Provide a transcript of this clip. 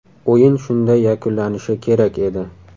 O‘yin shunday yakunlanishi kerak edi.